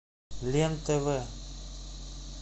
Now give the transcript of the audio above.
лен тв